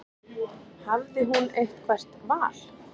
Hafði hún eitthvert val?